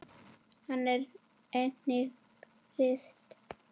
Hann er enginn prins.